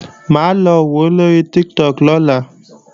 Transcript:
Mà á lọ wòó lóri Tiktok lọ́la